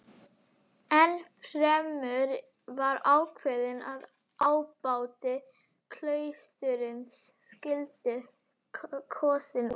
Ennfremur var ákveðið að ábóti klaustursins skyldi kosinn úr